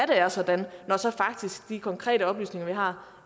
det er sådan når de konkrete oplysninger vi har